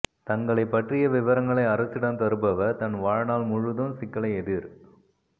தங்களை பற்றிய விவரங்களை அரசிடம் தருபவர் தன் வாழ்நாள் முழுதும் சிக்கலை எதிர்